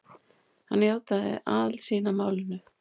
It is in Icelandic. Hann játaði aðild sína að málinu